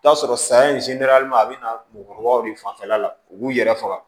I bi t'a sɔrɔ saya in a be na mɔgɔkɔrɔbaw de fanfɛla la u b'u yɛrɛ faga